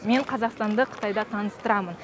мен қазақстанды қытайда таныстырамын